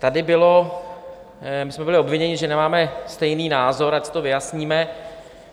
Tady bylo - my jsme byli obviněni, že nemáme stejný názor, ať si to vyjasníme.